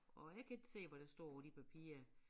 Og jeg kan ikke se hvad der står på de papirer